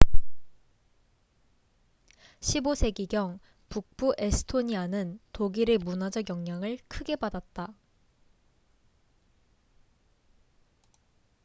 15세기경 북부 에스토니아는 독일의 문화적 영향을 크게 받았다